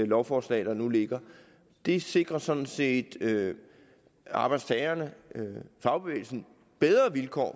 lovforslag der nu ligger det sikrer sådan set arbejdstagerne fagbevægelsen bedre vilkår